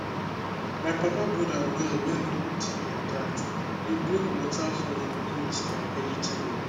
my papa brother well wey no deep like that dey bring water for im goat and vegetable